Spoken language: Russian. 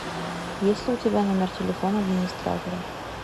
есть ли у тебя номер телефона администратора